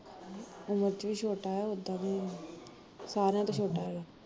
ਉਮਰ ਚ ਵੀ ਛੋਟਾ ਐ ਓਦਾ ਵੀ ਸਾਰਿਆ ਤੋਂ ਛੋਟਾ ਐਗਾ